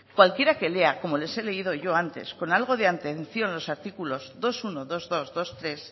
cualquiera que lea como les he leído yo antes con algo de atención los artículos dos punto uno dos punto dos doshirugarrena